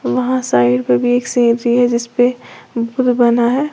वहां साइड पे भी एक सीनरी है जिस पे बुद्ध बना है।